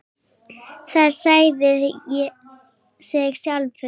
Það sagði sig sjálft.